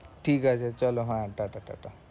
ঠিক আছে চলো হ্যাঁ tata tata